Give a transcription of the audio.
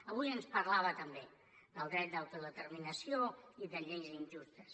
avui ens parlava també del dret d’autodeterminació i de lleis injustes